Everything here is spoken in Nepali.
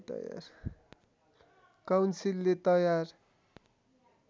काउन्सिलले तयार